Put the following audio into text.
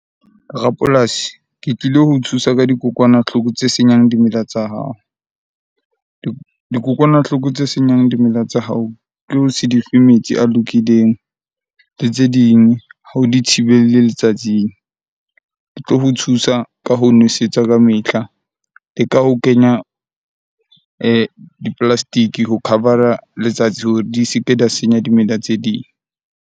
Rapolasi, ke tlile ho thusa ka dikokwanahloko tse senyang dimela tsa hao. Dikokwanahloko tse senyang dimela tsa hao, ke ho se di fe metsi a lokileng le tse ding. Ha o di thibelle letsatsing. Ke tlo ho thusa ka ho nwesetswa ka mehla, le ka ho kenya di-plastic-e ho cover-a letsatsi hore di se ke di a senya dimela tse ding.